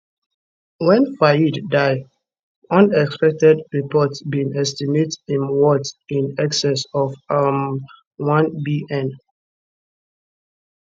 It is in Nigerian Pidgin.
wen fayed die unconfirmed reports bin estimate im worth in excess of um 1bn